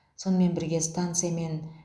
сонымен бірге станция мен